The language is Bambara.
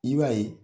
I b'a ye